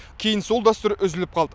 кейін сол дәстүр үзіліп қалды